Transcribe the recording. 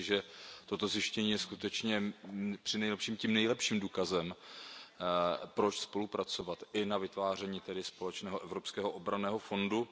Myslím si, že toto zjištění je skutečně tím nejlepším důkazem, proč spolupracovat i na vytváření společného evropského obranného fondu.